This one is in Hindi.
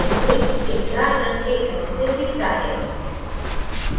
dipole एक लाल रंग के arrow से दिखता है